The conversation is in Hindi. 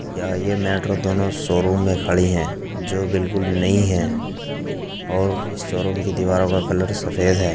यहाँ यह मेट्रो दोनों शोरूम में खड़ी हैं जो बिल्कुल नई है और इस शोरूम की दीवाल का कलर सफेद है।